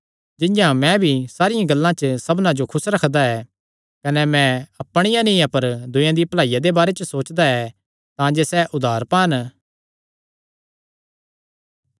जिंआं मैं भी सारियां गल्लां च सबना जो खुस रखदा ऐ कने मैं अपणिया नीं अपर दूयेयां दिया भलाईया दे बारे च सोचदा ऐ तांजे सैह़ उद्धार पान